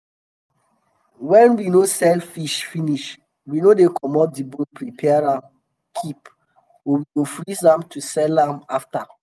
wen we no sell fish finish we dey comot di bone prepare am keep or we go freeze am to sell am after.